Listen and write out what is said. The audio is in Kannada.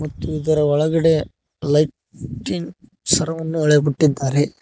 ಮತ್ತು ಇದರ ಒಳಗಡೆ ಲೈಟಿಂಗ್ ಸರವನ್ನು ಇಳೆ ಬಿಟ್ಟಿದ್ದಾರೆ.